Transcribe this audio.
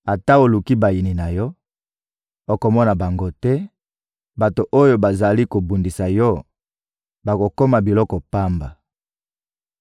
Ata oluki bayini na yo, okomona bango te; bato oyo bazali kobundisa yo bakokoma biloko pamba.